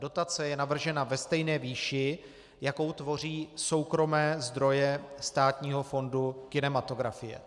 Dotace je navržena ve stejné výši, jakou tvoří soukromé zdroje Státního fondu kinematografie.